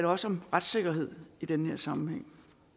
også om retssikkerhed i den her sammenhæng